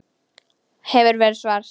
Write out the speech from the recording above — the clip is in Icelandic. Hefur verið svart.